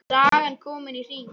Sagan komin í hring.